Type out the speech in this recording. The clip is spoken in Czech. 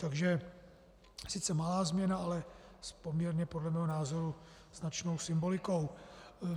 Takže sice malá změna, ale s poměrně podle mého názoru značnou symbolikou.